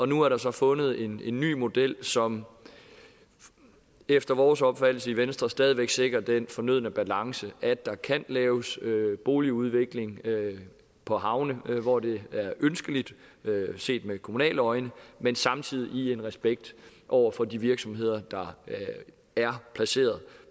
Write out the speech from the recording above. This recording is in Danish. nu er der så fundet en ny model som efter vores opfattelse i venstre stadig væk sikrer den fornødne balance at der kan laves boligudvikling på havne hvor det er ønskeligt set med kommunale øjne men samtidig i en respekt over for de virksomheder der er placeret